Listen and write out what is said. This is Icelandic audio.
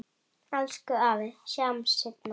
Elsku afi, sjáumst seinna.